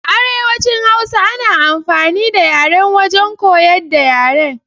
A arewacin hausa ana amfani da yaryen wajen koyar da yara.